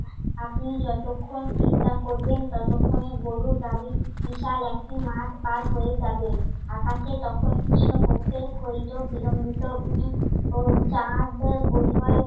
আপনি যতক্ষণ চিন্তা করবেন ততক্ষণে গরুর গাড়ি বিশাল একটি মাঠ পার হয়ে যাবে। আকাশে তখন কৃষ্ণপক্ষের ক্ষয়িত বিলম্বিত উম চাঁদ বোধহয়